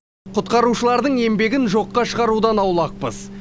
құтқарушылардың еңбегін жоққа шығарудан аулақпыз